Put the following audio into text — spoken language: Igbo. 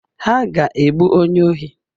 Ha ga-egbu onye ohi.